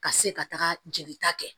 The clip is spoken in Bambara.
Ka se ka taga jelita kɛ